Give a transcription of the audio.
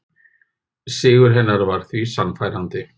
Sigur hennar var því sannfærandi